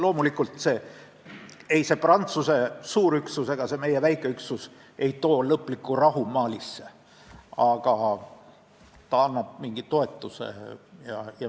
Loomulikult ei too see Prantsuse suur üksus ega meie väike üksus Malisse lõplikku rahu, aga need annavad mingit toetust.